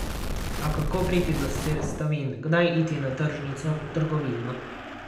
A kako priti do sestavin, kdaj iti na tržnico, v trgovino?